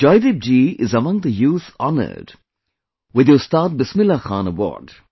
Joydeep ji is among the youth honored with the Ustad Bismillah Khan Award